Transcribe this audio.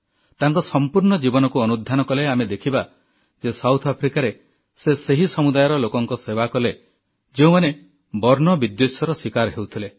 ତାଙ୍କ ସମ୍ପୂର୍ଣ୍ଣ ଜୀବନକୁ ଅନୁଧ୍ୟାନ କଲେ ଆମେ ଦେଖିବା ଯେ ଦକ୍ଷିଣ ଆଫ୍ରିକାରେ ସେ ସେହି ସମୁଦାୟର ଲୋକଙ୍କ ସେବା କଲେ ଯେଉଁମାନେ ବର୍ଣ୍ଣବିଦ୍ୱେଷର ଶୀକାର ହେଉଥିଲେ